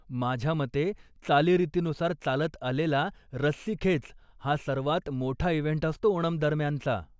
माझ्यामते चालीरीतीनुसार चालत आलेला रस्सी खेच, हा सर्वात मोठा इव्हेंट असतो ओनम दरम्यानचा.